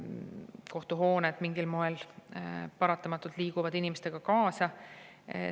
Kohtuhooned mingil moel paratamatult liiguvad inimestega kaasa.